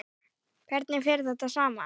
Hvernig fer þetta saman?